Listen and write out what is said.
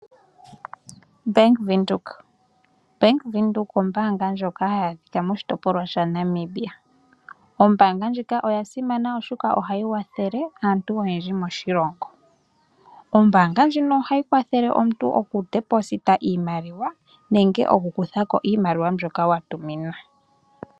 Ombaanga yaVenduka, Ombaanga yaVenduka Ombaanga ndjoka hayi adhika moshitopolwa shaNamibia. Ombaanga ndjika oya simana oshoka ohayi kwathele aantu oyendji moshilongo. Ombaanga ndjika ohayi kwathele omuntu oku tula ko iimaliwa nenge oku kutha ko iimaliwa mbyoka wa tuminwa.